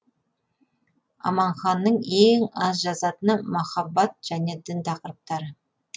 аманханның ең аз жазатыны махаббат және дін тақырыптары